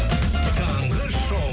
таңғы шоу